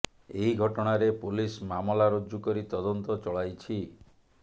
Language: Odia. ଏହି ଘଟଣାରେ ପୋଲିସ୍ ମାମଲା ରୁଜୁ କରି ତଦନ୍ତ ଚଳାଇଛି